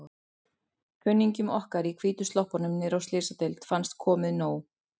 Kunningjum okkar í hvítu sloppunum niðri á Slysadeild fannst komið nóg.